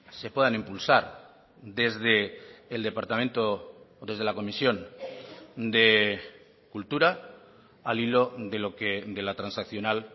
se puedan impulsar desde el departamento o desde la comisión de cultura al hilo de la transaccional